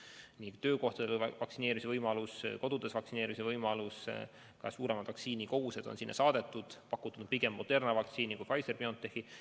Seal on töökohtades vaktsineerimise võimalus ja kodudes vaktsineerimise võimalus, sinna on saadetud suuremad vaktsiinikogused ja pakutud pigem Moderna vaktsiini kui Pfizer/BioNTechi.